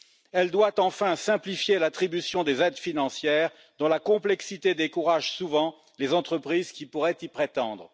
Elle doit enfin simplifier l'attribution des aides financières dont la complexité décourage souvent les entreprises qui pourraient y prétendre.